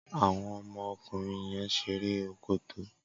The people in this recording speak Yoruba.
Awọn ọmọ ọkunrin yèn ṣéré òkôtó